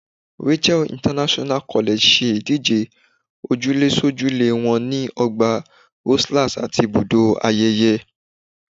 Rachael International College ṣe ìdíje òjúlésójúlé wọn ní Ọgbà Rosellas àti Ibùdó Ayẹyẹ.